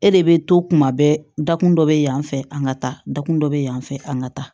E de bɛ to kuma bɛɛ dakun dɔ bɛ yan fɛ an ka taa dakun dɔ bɛ yan fan fɛ an ka ta